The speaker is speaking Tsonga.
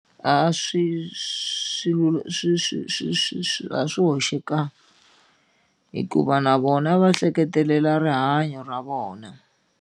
A swi swilo swi swi swi swi swi a swi hoxekangi hikuva na vona va hleketelela rihanyo ra vona.